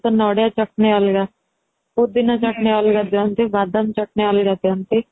ନଡ଼ିଆ ଚଟଣି ଅଲଗା ପୋଦିନା ଚଟଣି ଅଲଗା ଦିଅନ୍ତି ବାଦାମ ଚଟଣି ଅଲଗା ଦିଅନ୍ତି